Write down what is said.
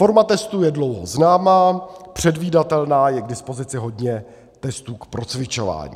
Forma testů je dlouho známá, předvídatelná, je k dispozici hodně testů k procvičování.